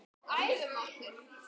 Ég vel að trúa því.